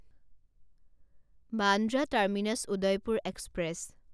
Bandra terminus Udaipur express